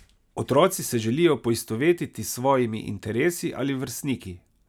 Otroci se želijo poistovetiti s svojimi interesi ali vrstniki.